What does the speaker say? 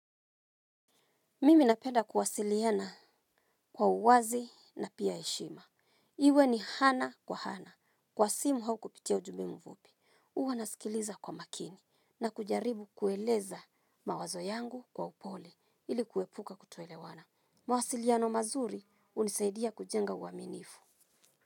Mimi napenda kuwasiliana kwa uwazi na pia heshima. Iwe ni ana kwa ana. Kwa simu au kupitia ujumbe mfupi. Huwa nasikiliza kwa makini. Na kujaribu kueleza mawazo yangu kwa upole. Ili kuepuka kutoelewana. Mawasiliano mazuri hunisaidia kujenga uaminifu.